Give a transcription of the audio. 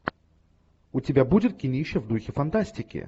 у тебя будет кинище в духе фантастики